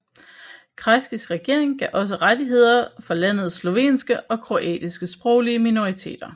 Kreiskys regering gav også rettigheder for landets slovenske og kroatiske sproglige minoriteter